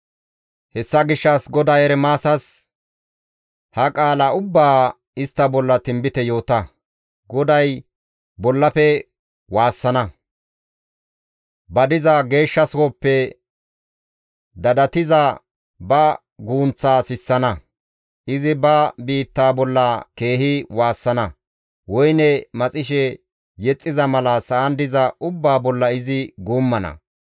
Hessa gishshas GODAY Ermaasas, «Ha qaala ubbaa istta bolla tinbite yoota; ‹GODAY bollafe waassana; ba diza geeshsha sohoppe dadattiza ba gunththaa sissana; izi ba biitta bolla keehi waassana; woyne maxishe yexxiza mala sa7an diza ubbaa bolla izi guummana.